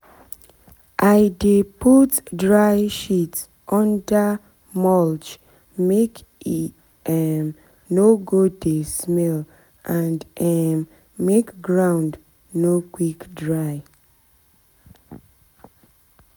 i dey put dry shit under mulch make e um no go dey smell and um make ground no quick dry.